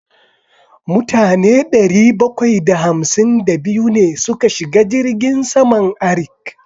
Mutane ɗari bakwai da hamsin da biyu ne suka shiga jirgin saman Arik.